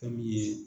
Fɛn min ye